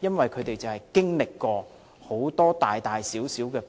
因為他們經歷過很多大小